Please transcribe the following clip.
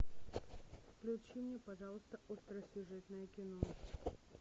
включи мне пожалуйста остросюжетное кино